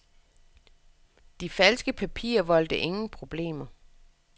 De falske papirer voldte ingen problemer.